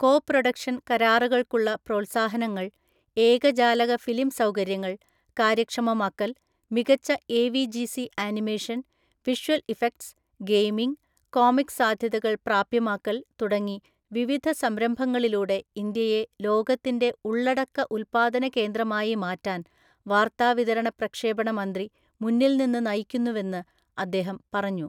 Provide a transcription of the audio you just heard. കോ production കരാറുകൾക്കുള്ള പ്രോത്സാഹനങ്ങൾ, ഏകജാലക ഫിലിം സൗകര്യങ്ങൾ കാര്യക്ഷമമാക്കൽ, മികച്ച AVGC animation, visual effects, gaming, comic സാധ്യതകൾ പ്രാപ്യമാക്കൽ തുടങ്ങി വിവിധ സംരംഭങ്ങളിലൂടെ ഇന്ത്യയെ ലോകത്തിന്റെ ഉള്ളടക്ക ഉൽപ്പാദന കേന്ദ്രമായി മാറ്റാൻ വാർത്താവിതരണ പ്രക്ഷേപണ മന്ത്രി മുന്നിൽ നിന്ന് നയിക്കുന്നുവെന്ന് അദ്ദേഹം പറഞ്ഞു.